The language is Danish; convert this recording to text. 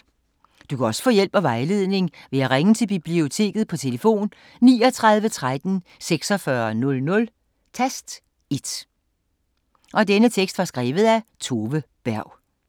Du kan også få hjælp og vejledning ved at ringe til Biblioteket på tlf. 39 13 46 00, tast 1.